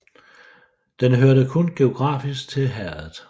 Den hørte kun geografisk til herredet